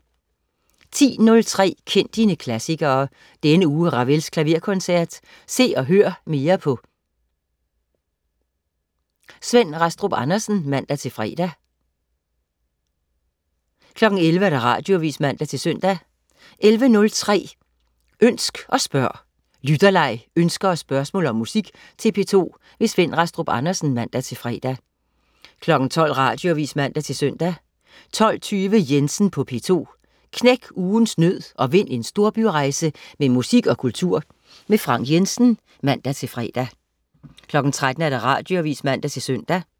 10.03 Kend dine klassikere. Denne uge Ravels Klaverkoncert. Se og hør mere på . Svend Rastrup Andersen (man-fre) 11.00 Radioavis (man-søn) 11.03 Ønsk og spørg. Lytterleg, ønsker og spørgsmål om musik til P2. Svend Rastrup Andersen (man-fre) 12.00 Radioavis (man-søn) 12.20 Jensen på P2. Knæk ugens nød og vind en storbyrejse med musik og kultur. Frank Jensen (man-fre) 13.00 Radioavis (man-søn)